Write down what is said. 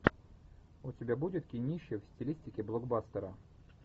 у тебя будет кинище в стилистике блокбастера